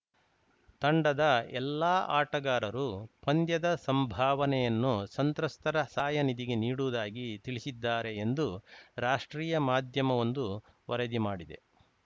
ತಂಡದ ಎಲ್ಲಾ ಆಟಗಾರರು ಪಂದ್ಯದ ಸಂಭಾವನೆಯನ್ನು ಸಂತ್ರಸ್ತರ ಸಹಾಯ ನಿಧಿಗೆ ನೀಡುವುದಾಗಿ ತಿಳಿಸಿದ್ದಾರೆ ಎಂದು ರಾಷ್ಟ್ರೀಯ ಮಾಧ್ಯಮವೊಂದು ವರದಿ ಮಾಡಿದೆ